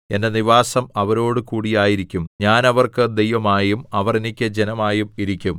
എന്റെ നിവാസം അവരോടുകൂടി ആയിരിക്കും ഞാൻ അവർക്ക് ദൈവമായും അവർ എനിക്ക് ജനമായും ഇരിക്കും